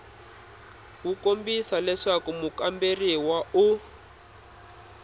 wu kombisa leswaku mukamberiwa u